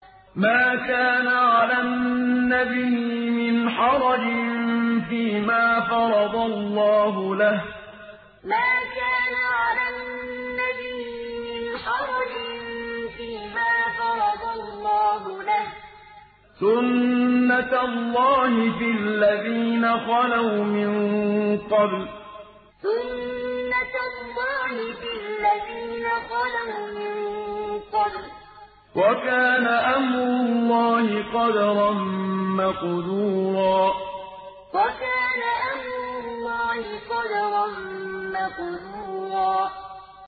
مَّا كَانَ عَلَى النَّبِيِّ مِنْ حَرَجٍ فِيمَا فَرَضَ اللَّهُ لَهُ ۖ سُنَّةَ اللَّهِ فِي الَّذِينَ خَلَوْا مِن قَبْلُ ۚ وَكَانَ أَمْرُ اللَّهِ قَدَرًا مَّقْدُورًا مَّا كَانَ عَلَى النَّبِيِّ مِنْ حَرَجٍ فِيمَا فَرَضَ اللَّهُ لَهُ ۖ سُنَّةَ اللَّهِ فِي الَّذِينَ خَلَوْا مِن قَبْلُ ۚ وَكَانَ أَمْرُ اللَّهِ قَدَرًا مَّقْدُورًا